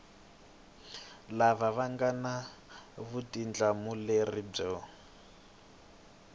lava nga na vutihlamuleri byo